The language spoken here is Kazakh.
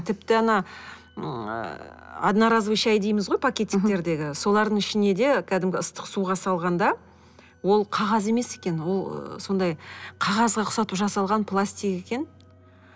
тіпті ана ы одноразовый шай дейміз ғой пакетиктердегі солардың ішіне де кәдімгі ыстық суға салғанда ол қағаз емес екен ол сондай қағазға ұқсатып жасалған пластик екен